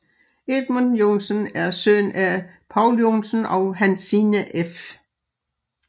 Edmund Joensen er søn af Poul Joensen og Hansina f